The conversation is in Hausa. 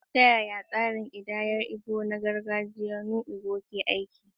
Ta yaya tsarin kidayar Igbo na gargajiya "nnu ego" ke aiki?